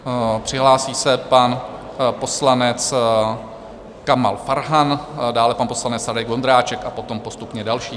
Přihlásil se pan poslanec Kamal Farhan, dále pan poslanec Radek Vondráček a potom postupně další.